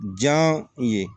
Ja ye